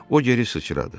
O geri sıçradı.